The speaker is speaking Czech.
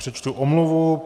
Přečtu omluvu.